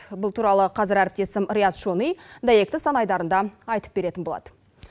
бұл туралы қазір әріптесім рият шони дәйекті сан айдарында айтып беретін болады